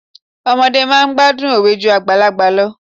Ọmọdé máa ń gbádùn òwe ju àgbàlagbà lọ.